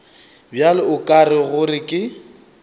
bjalo o ra gore ke